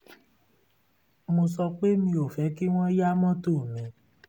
mo sọ pé mi ò fẹ́ kí wọ́n yá mọ́tò mi